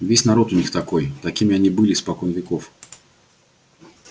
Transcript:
весь народ у них такой такими они были испокон веков